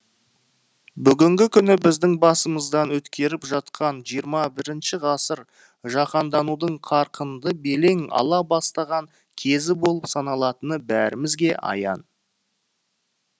бүгінгі күні біздің басымыздан өткеріп жатқан жиырма бірінші ғасыр жаһанданудың қарқынды белең ала бастаған кезі болып саналатыны бәрімізге аян